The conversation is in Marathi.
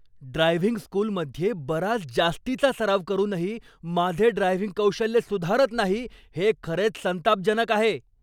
ड्रायव्हिंग स्कूलमध्ये बराच जास्तीचा सराव करूनही माझे ड्रायव्हिंग कौशल्य सुधारत नाही हे खरेच संतापजनक आहे.